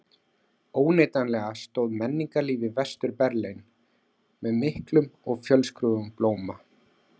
Óneitanlega stóð menningarlíf í Vestur-Berlín með miklum og fjölskrúðugum blóma.